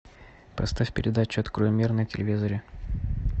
поставь передачу открой мир на телевизоре